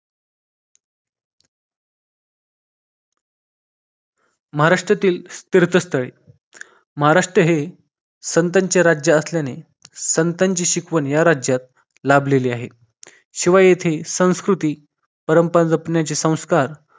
महाराष्ट्रातील तीर्थस्थळे महाराष्ट्र हे संतांचे राज्य असल्याने संतांची शिकवण या राज्यात लाभलेली आहे शिवा येथे संस्कृती परंपरा जपण्याचे संस्कार